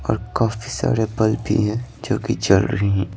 और काफी सारे बल्ब भी हैं जो कि जल रहे हैं।